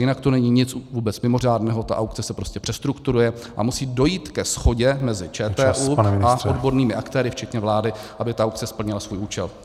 Jinak to není nic vůbec mimořádného, tak aukce se prostě přestrukturuje a musí dojít ke shodě mezi ČTÚ a odbornými aktéry včetně vlády, aby ta aukce splnila svůj účel.